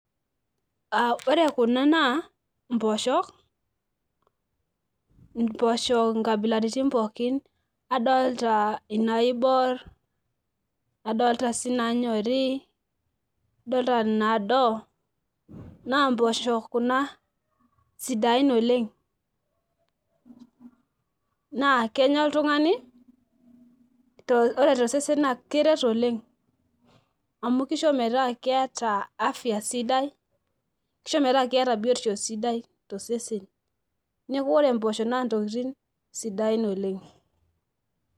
Ore kuma na mpoosho, mpoosho nkabilaitin pookin adolta naibor adolta sii nanyori adolta nado na mpoosho kuna sidai oleng nakenya oltungani amu ore tosesen na keret oleng amu kisho metaa keeta afya sidai kisho metaa keeta biotisho sidai tosesen neaku ore mpoosho na ntokitin sidain oleng.